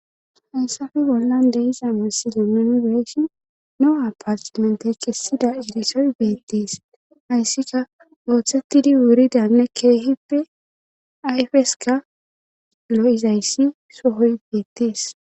Hayssape bollan deiza misilene munbeeslin lo'o apartmente kessida irisoy beettees hayssika ooththettidi wuridanne keehippe ayfeska lo7izayssi sohoy beettees